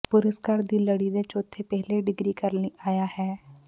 ਪੁਰਸਕਾਰ ਦੀ ਲੜੀ ਦੇ ਚੌਥੇ ਪਹਿਲੇ ਡਿਗਰੀ ਕਰਨ ਲਈ ਆਇਆ ਹੈ